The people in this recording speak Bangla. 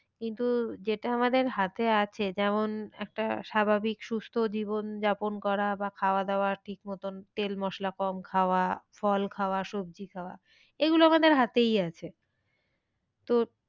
কিন্তু যেটা আমাদের হাতে আছে। যেমন একটা স্বাভাবিক সুস্থ জীবন যাপন করা বা খাওয়া দাওয়া ঠিক মতন তেল মশলা কম খাওয়া ফল খাওয়া সবজি খাওয়া এগুলো আমাদের হাতেই আছে। তো,